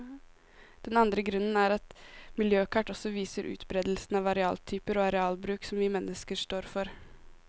Den andre grunnen er at miljøkart også viser utberedelsen av arealtyper og arealbruk som vi mennesker står for.